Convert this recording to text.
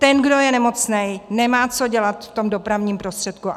Ten, kdo je nemocný, nemá co dělat v tom dopravním prostředku.